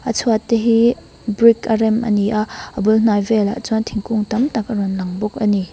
a chhuat te hi brick a rem ani a a bul hnai velah chuan thingkung tam tak a rawn lang bawk ani.